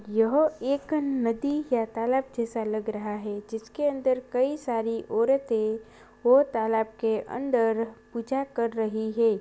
यह एक नदी या तालाब जैसा लग रहा है जिसके अंदर कई सारी औरतें वो तालाब के अंदर पूजा कर रही है।